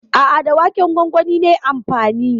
A'a, da waken gwangwani nayi amfani.